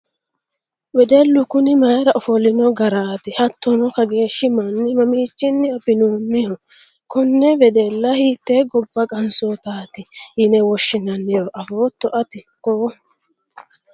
wedellu kuni mayiira ofolino garaati? hattono kageeshshi manni mamiichinni abbinoonniho? konne wedella hiittee gobba qansootaati yine woshshinanniro afootto ati koo?